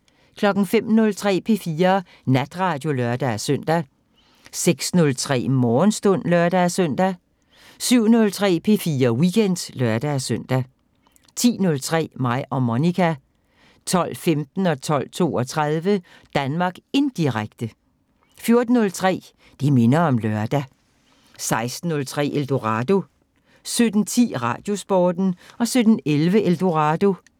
05:03: P4 Natradio (lør-søn) 06:03: Morgenstund (lør-søn) 07:03: P4 Weekend (lør-søn) 10:03: Mig og Monica 12:15: Danmark Indirekte 12:32: Danmark Indirekte 14:03: Det minder om lørdag 16:03: Eldorado 17:10: Radiosporten 17:11: Eldorado